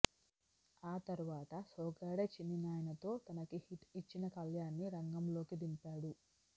ఆతర్వాత సోగ్గాడే చిన్నినాయన తో తనకి హిట్ ఇచ్చిన కళ్యాన్ ని రంగంలోకి దింపాడు